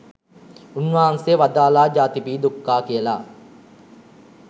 උන්වහන්සේ වදාළා ජාතිපි දුක්ඛා කියලා.